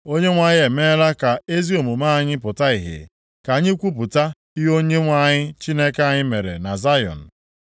“‘ Onyenwe anyị emeela ka ezi omume anyị pụta ìhè. Ka anyị kwupụta ihe Onyenwe anyị Chineke anyị mere na Zayọn.’